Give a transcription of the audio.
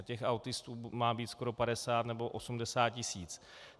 A těch autistů má být skoro 50 nebo 80 tisíc.